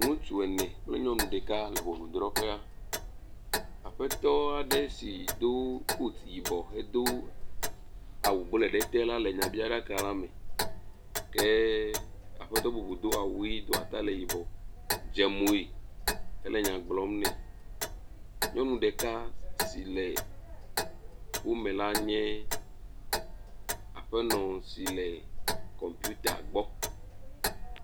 Ŋutsu ene kple nyɔnu ɖeka le ŋɔnudrɔƒea, aƒetɔa ɖe si do “coat” yibɔ hedo awu blɔɛ ɖe te la le nyabiaɖaka la me. Ke aƒetɔ bubu do awu ʋi do atalɛ yibɔ dze moe hele nya gblɔm nɛ. Nyɔnu ɖeka si le wo me la nye aƒenɔ si le “computer” gbɔ.